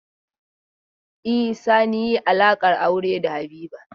E, Sani yi alaƙar aure da Habiba.